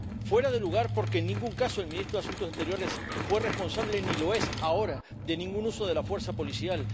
Fuera de lugar porque, en ningún caso, el ministro de Asuntos Exteriores fue responsable —ni lo es ahora— de ningún uso de la fuerza policial.